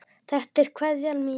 Þetta er kveðjan mín.